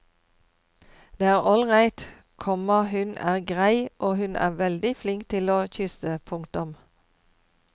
Det er all right, komma hun er grei og hun er veldig flink til å kysse. punktum